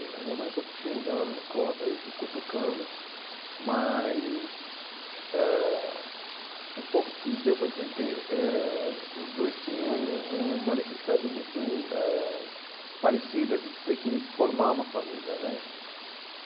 A minha mãe é um pouco tímida, ela não me conta, eu fico cutucando, mas eh um pouco que deu para entender, eh os dois tinham uma necessidade muito eh parecida de ter que formar uma família, né?